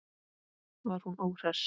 Var hún óhress?